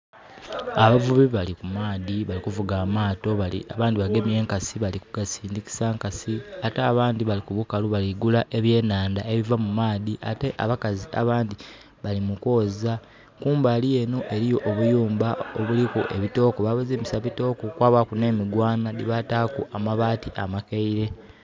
Abavubi bali mu maadhi, bali kuvuga amaato, abandi bagemye enkasi bali kugasindikisa enkasi. Ate abandi bali kubukalu kugula ebyenanda ebiva mu maadhi. Ate abakazi abandi bali mu kwooza. Kumbali eno eriyo obuyumba obulliku ebitoko. Babizimbisa bitoko, kwabaaku ne migwana debataaku na mabaati amakaire